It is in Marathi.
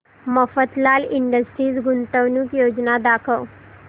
मफतलाल इंडस्ट्रीज गुंतवणूक योजना दाखव